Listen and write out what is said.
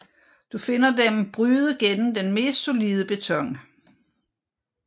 Du finder dem bryde gennem den mest solide beton